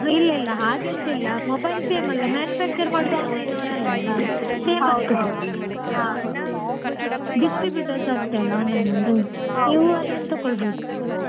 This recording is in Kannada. ಇಲ್ಲ ಇಲ್ಲ ಹಾಗಂತಿಲ್ಲ mobile same ಅಲ್ಲ manufacture ಮಾಡ್ದೋರು online ನೋರು ಅಲ್ಲ ಅಲಾ same ಇರ್ತದೆ distributers ಅಷ್ಟೇ ಅಲ್ಲ online ಅವರು ನೀವು ಅದ್ರಿನ್ದ ತೊಕ್ಕೊಳ್ಬೋದು.